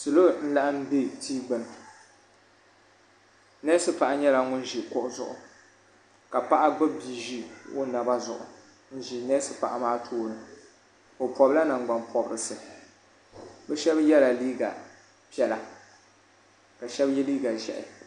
salo n laɣam bɛ tia gbuni neesi paɣa nyɛla ŋun ʒi kuɣu zuɣu ka paɣa gbubi bia ʒi o naba zuɣu n ʒi neesi paɣa maa tooni o pobila nangbani pobirisi bi shab yɛla liiga piɛla ka shab yɛ liiga ʒiɛhi